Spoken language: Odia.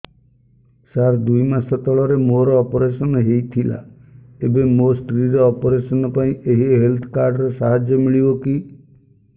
ସାର ଦୁଇ ମାସ ତଳରେ ମୋର ଅପେରସନ ହୈ ଥିଲା ଏବେ ମୋ ସ୍ତ୍ରୀ ର ଅପେରସନ ପାଇଁ ଏହି ହେଲ୍ଥ କାର୍ଡ ର ସାହାଯ୍ୟ ମିଳିବ କି